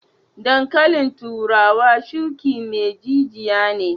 Dankalin turawa shuki mai jijiya ne.